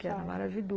Que era maravilhoso.